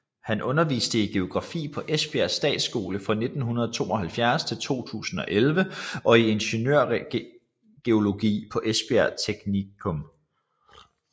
Han underviste i geografi på Esbjerg Statsskole fra 1972 til 2011 og i ingeniørgeologi på Esbjerg Teknikum